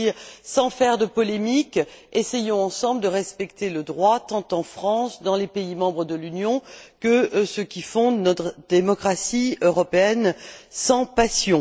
En d'autres termes, et sans faire de polémiques, essayons de respecter le droit tant en France, dans les pays membres de l'Union, que ceux qui font notre démocratie européenne sans passion.